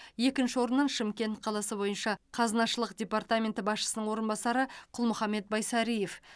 екінші орыннан шымкент қаласы бойынша қазынашылық департаменті басшысының орынбасары құлмұхамбет байсариев